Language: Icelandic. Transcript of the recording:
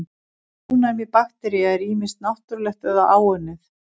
Ónæmi baktería er ýmist náttúrlegt eða áunnið.